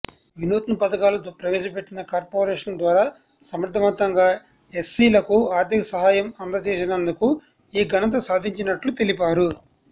వినూత్న పథకాలు ప్రవేశపెట్టి కార్పోరేషన్ ద్వారా సమర్థవంతంగా ఎస్సీలకు ఆర్థిక సహాయం అందజేసినందుకు ఈ ఘనత సాధించినట్లు తెలిపారు